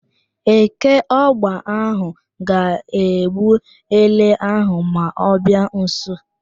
Eke ọgba ahụ ga-egbu ele ahụ ma ọ bịa nso.